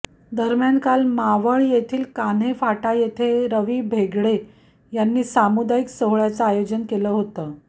दरम्यान काल मावळ येथील कान्हे फाटा येथे रवी भेगडे यांनी सामुदायिक सोहळ्याचं आयोजन केलं होतं